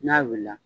N'a wulila